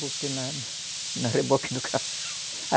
Botei na na reboque do ca